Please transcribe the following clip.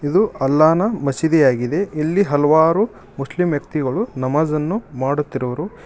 ಇದು ಅಲ್ಲಾನ ಮಸೀದಿಯಾಗಿದೆ ಇಲ್ಲಿ ಹಲವಾರು ಮುಸ್ಲಿಂ ವ್ಯಕ್ತಿಗಳು ನಮಾಜನ್ನು ಮಾಡುತ್ತಿರುವರು ಇ--